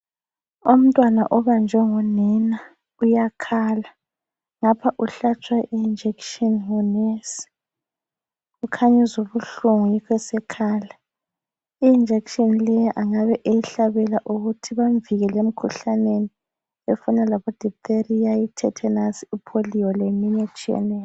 Umntwana obanjwe ngunina uyakhala, lapha uhlatshwa injection ngu nesi ,ukhanya uzwa ubuhlungu yikho sekhala I injection leyi engabe eyihlabela ukuthi bamvikele emikhuhlaneni efana labo diphtheria, tetanus ,polio leyinye etshiyeneyo